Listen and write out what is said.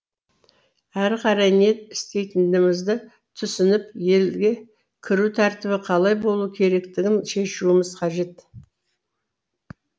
әрі қарай не істейтінімізді түсініп елге кіру тәртібі қалай болуы керектігін шешуіміз қажет